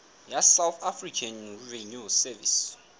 ya south african revenue service